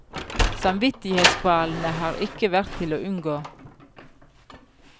Samvittighetskvalene har ikke vært til å unngå.